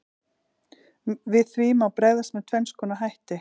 Við því má bregðast með tvenns konar hætti.